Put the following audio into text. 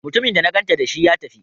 Mutumin da na ganta dashi, ya tafi?